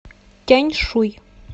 тяньшуй